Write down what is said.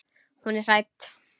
Hún er hrædd.